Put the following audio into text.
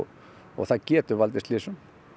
og það getur valdið slysum